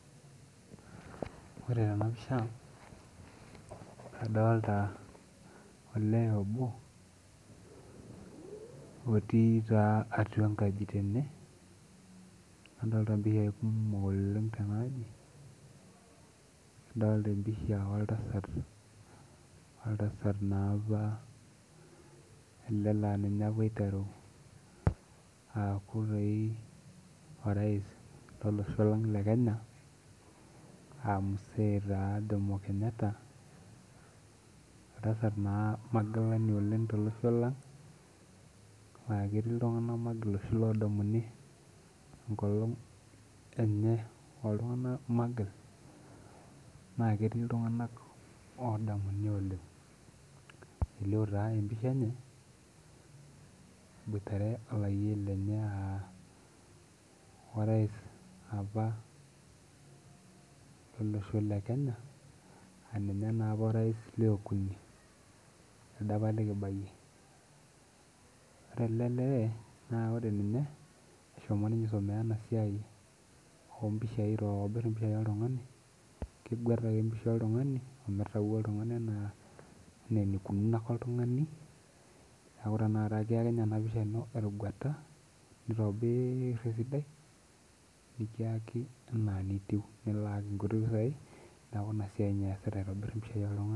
Ore tenapisha adolta olee obo otii taa atuea enkaji tene nadolta mpishai kumok tenaaji adolta oltasat naapa na ninye apa oiteru aaku orais lolosho le kenya aa jomo Kenyata magilani oleng tolosho lang aaketii ltunganak magil oshi odumuni enkolong enye magil na ketii ltunganak odamuni oleng elio na empisha enye eboitare olayioni lenye aa orais apa lolosho lekenya aaninye naapa ololosho lekenya teldaapa likibahie ore elde lee eshomo ninye aitumia enasia aitobir mpishai oltunganak keguet ake pisha oltungani neaku tanakata ekiyaki enaa enitubnikilaaki nkuti pisai neaku inasia ninye easita.